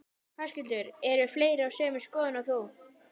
Höskuldur: Eru fleiri á sömu skoðun og þú?